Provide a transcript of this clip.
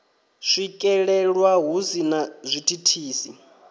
swikelelwa hu si na zwithithisi